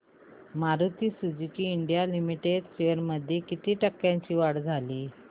Maruti Suzuki India limited shares मध्ये किती टक्क्यांची वाढ झाली